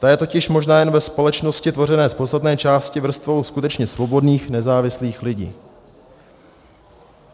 Ta je totiž možná jen ve společnosti tvořené z podstatné části vrstvou skutečně svobodných, nezávislých lidí.